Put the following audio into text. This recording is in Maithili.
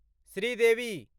श्रीदेवी